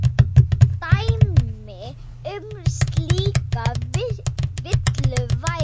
Dæmi um slíka villu væri